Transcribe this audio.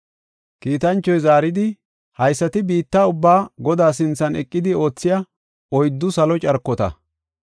Kiitanchoy zaaridi, “Haysati biitta ubbaa Godaa sinthan eqidi oothiya oyddu salo carkota.